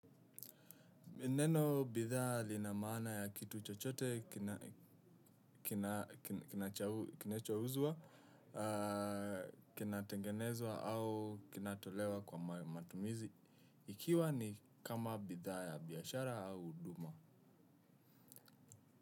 Neno bidhaa lina maana ya kitu chochote kinachouzwa, kinatengenezwa au kinatolewa kwa matumizi. Ikiwa ni kama bidhaa ya biashara au huduma.